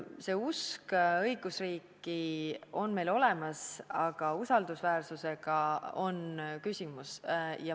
See usk õigusriiki on meil olemas, aga usaldusväärsusega on küsimusi.